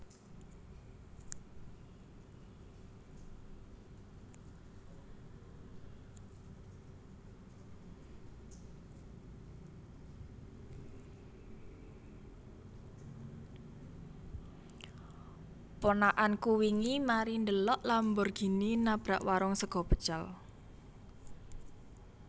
Ponakanku wingi mari ndhelok Lamborghini nabrak warung sego pecel